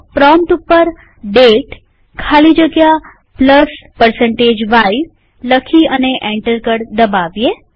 prompt ઉપર દાતે ખાલી જગ્યા y લખી અને એન્ટર કળ દબાવીએ